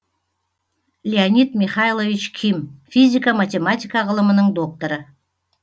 леонид михайлович ким физика математика ғылымының докторы